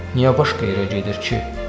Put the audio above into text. Niyə başqa yerə gedir ki?